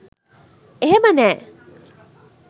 එහෙම නෑ.